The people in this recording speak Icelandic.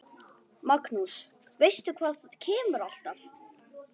Magnús: Veistu hvað kemur alltaf?